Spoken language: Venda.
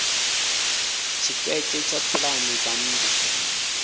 tshiketshe tsha pulane dza nnḓu